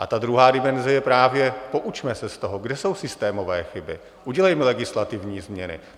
A ta druhá dimenze je právě: poučme se z toho, kde jsou systémové chyby, udělejme legislativní změny.